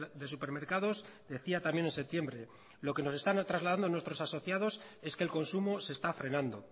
de supermercados decía también en septiembre lo que nos están trasladando nuestros asociados es que el consumo se está frenando